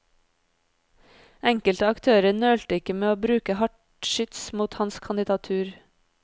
Enkelte aktører nølte ikke med å bruke hardt skyts mot hans kandidatur.